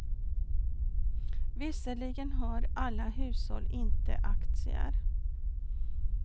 Visserligen har alla hushåll inte aktier.